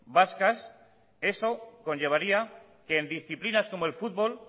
vascas eso conllevaría que en disciplinas como el fútbol